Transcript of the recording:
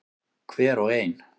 Hver og ein.